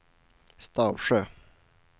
Stavsjö